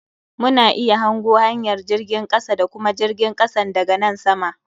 Mu na iya hango hanyar jirgin kasa da kuma jirgin kasan da ga nan sama.